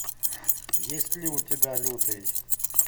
есть ли у тебя лютый